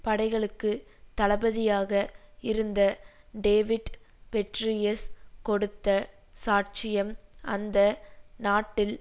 படைகளுக்குத் தளபதியாக இருந்த David Petraeus கொடுத்த சாட்சியம் அந்த நாட்டில்